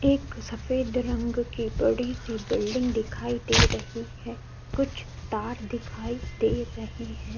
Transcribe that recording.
एक सफेद रंग की बड़ी सी बिल्डिंग दिखाई दे रही है। कुछ तार दिखाई दे रहे हैं।